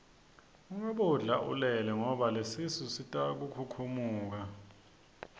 ungabodla ulele ngoba lesisu sitokhukhumuka